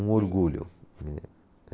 Um orgulho, né.